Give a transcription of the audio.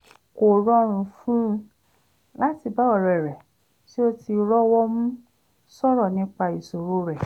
kò rọrùn fún un láti bá ọ̀rẹ́ rẹ̀ tí ó ti rọ́wọ́mu sọ̀rọ̀ nípa ìṣòro rẹ̀